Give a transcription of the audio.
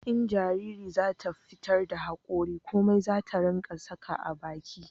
in jariri za ta fitar da hakori komai zata ringa saka a baki